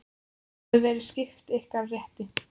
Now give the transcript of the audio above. Þið hafið verið svipt ykkar rétti.